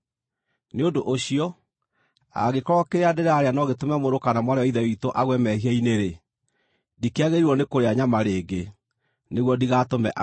Nĩ ũndũ ũcio, angĩkorwo kĩrĩa ndĩrarĩa no gĩtũme mũrũ kana mwarĩ wa Ithe witũ agwe mehia-inĩ-rĩ, ndikĩagĩrĩirwo nĩ kũrĩa nyama rĩngĩ, nĩguo ndigatũme agwe.